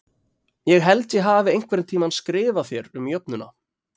Ég held ég hafi einhvern tíma skrifað þér um jöfnuna